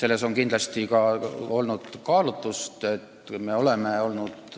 Teatud kaalutlustel me oleme olnud